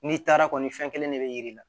N'i taara kɔni fɛn kelen de bɛ yiri la